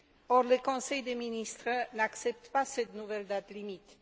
Or, le Conseil des ministres n'accepte pas cette nouvelle date limite.